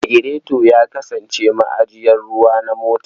Lagireto ya kasance ma'ajiyar ruwa na mota.